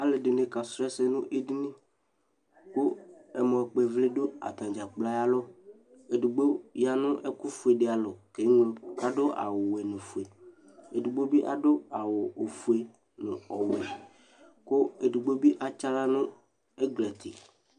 Alʋ ɛdɩnɩ kasʋ ɛsɛ nʋ edini kʋ ,ɛmɔkpɔɩvlɩ dʋ atamɩ ɛkplɔɛ ɛlʋ Edigbo ya nʋ ɛkʋfue dɩ alɔ , k'eŋlo ɛkʋ ,adʋ awʋwɛ nʋ ofue ,efigbo bɩ adʋ awʋ ofue nʋ ɔwɛ Kʋ edigbo bɩ atsɩ aɣla nʋ ɛglati